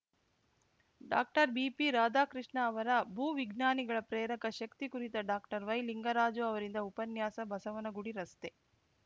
doctor BP Radhakrishna ಅವರ ಭೂ ವಿಜ್ಞಾನಿಗಳ ಪ್ರೇರಕ ಶಕ್ತಿ ಕುರಿತು ಡಾಕ್ಟರ್ ವೈ ಲಿಂಗರಾಜು ಅವರಿಂದ ಉಪನ್ಯಾಸ ಬಸವನಗುಡಿ ರಸ್ತೆ